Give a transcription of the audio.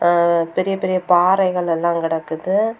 ஆ பெரிய பெரிய பாறைகள் எல்லா கெடக்குது.